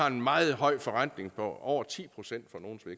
en meget høj forrentning på over ti procent